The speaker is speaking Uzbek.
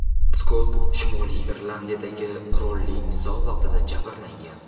Skott Shimoliy Irlandiyadagi qurolli nizo vaqtida jabrlangan.